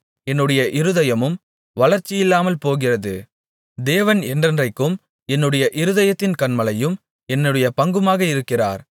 என்னுடைய சரீரமும் என்னுடைய இருதயமும் வளர்ச்சியில்லாமல் போகிறது தேவன் என்றென்றைக்கும் என்னுடைய இருதயத்தின் கன்மலையும் என்னுடைய பங்குமாக இருக்கிறார்